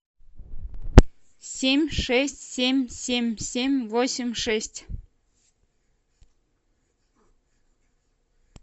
семь шесть семь семь семь восемь шесть